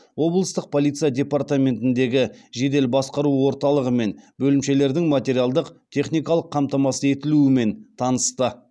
облыстық полиция департаментіндегі жедел басқару орталығы мен бөлімшелердің материалдық техникалық қамтамасыз етілуімен танысты